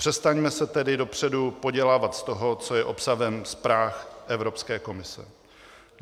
Přestaňme se tedy dopředu podělávat z toho, co je obsahem zpráv Evropské komise.